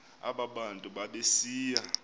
aba bantu babesiya